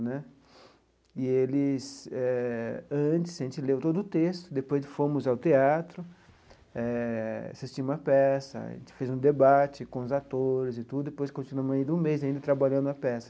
Né e eles eh antes a gente leu todo o texto, depois fomos ao teatro eh, assistimos à peça, a gente fez um debate com os atores e tudo, e depois continuamos ainda um mês ainda trabalhando na peça.